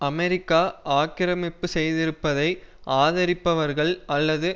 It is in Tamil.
அமெரிக்கா ஆக்கிரமிப்பு செய்திருப்பதை ஆதரிப்பவர்கள் அல்லது